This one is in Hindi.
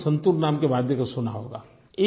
आप ने संतूर नाम के वाद्य को सुना होगा